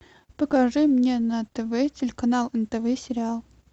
покажи мне на тв телеканал нтв сериал